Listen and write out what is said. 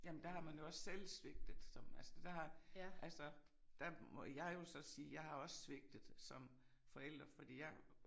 Jamen der har man jo også selv svigtet som altså der har altså der må jeg jo så sige jeg har også svigtet som forælder fordi jeg